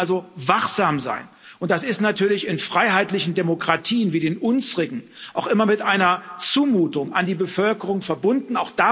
Wir müssen also wachsam sein, und das ist natürlich in freiheitlichen Demokratien wie den unsrigen auch immer mit einer Zumutung an die Bevölkerung verbunden.